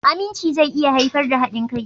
Aminci zai iya haifar da haɗin kai.